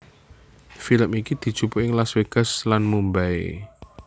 Film iki dijupuk ing Las Vegas lan ning Mumbai